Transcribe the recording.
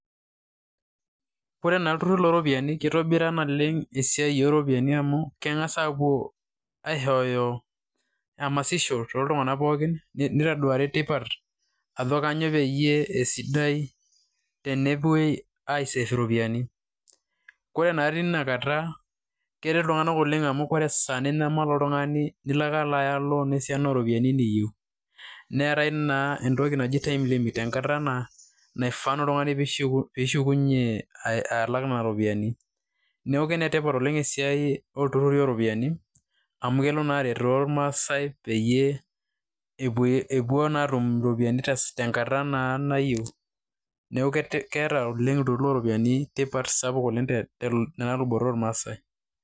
ore naa olturur looropiyiani naa kitobiraa naa esiai ooropiyiani oleng. amu keng'as aapuo aishooyo emasisho, tooltung'anak pookin, nitoduari tipat aj kainyioo peyiee esidai tenepuoi, ore naa teina kata keretoi iltunganak oleng amu ore esaa ninyamal oltung'ani nilo, ake aya loan ooropiyiani niyieu. neetae naa entoki naji time limit ,entoki naaifaa na oltungani pee ishukunye ashuk nena ropiyiani.